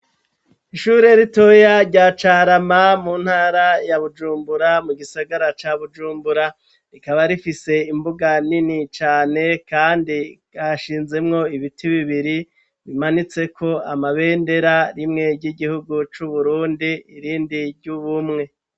Ishure ritoya rya Carama mu ntara ya Bujumbura mu gisagara ca Bujumbura, rikaba rifise imbuga nini cane kandi hashinzemwo ibiti bibiri bimanitseko amabendera rimwe ry'igihugu c'Uburundi irindi ry'Ubumwe.